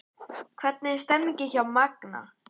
Hvernig er stemningin hjá Magna?